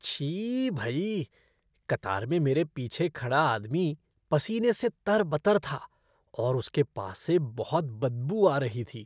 छी भई! कतार में मेरे पीछे खड़ा आदमी पसीने से तर बतर था और उसके पास से बहुत बदबू आ रही थी।